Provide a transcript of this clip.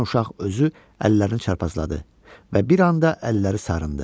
Birdən uşaq özü əllərini çarpazladı və bir anda əlləri sarındı.